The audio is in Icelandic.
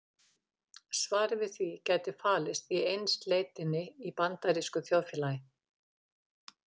Svarið við því gæti falist í einsleitninni í bandarísku þjóðfélagi.